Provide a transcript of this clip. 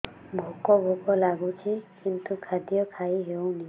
ଭୋକ ଭୋକ ଲାଗୁଛି କିନ୍ତୁ ଖାଦ୍ୟ ଖାଇ ହେଉନି